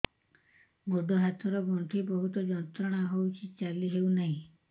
ଗୋଡ଼ ହାତ ର ଗଣ୍ଠି ବହୁତ ଯନ୍ତ୍ରଣା ହଉଛି ଚାଲି ହଉନାହିଁ